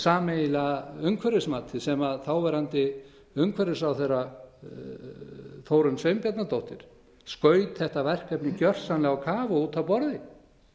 sameiginlega umhverfismatið sem þáverandi umhverfisráðherra þórunn sveinbjarnardóttir skaut þetta verkefni gjörsamlega á kaf út af borði